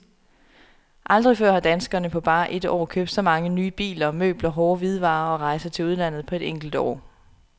Aldrig før har danskerne på bare et år købt så mange nye biler, møbler, hårde hvidevarer og rejser til udlandet på et enkelt år.